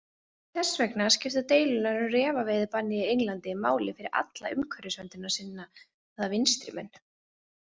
Þess vegna skipta deilurnar um refaveiðibannið í Englandi máli fyrir alla umhverfisverndarsinnaða vinstrimenn.